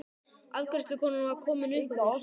Afgreiðslukonan var komin upp að mér.